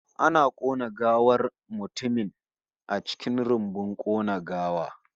Ana kona gawar mutumin a cikin rumbun kona gawa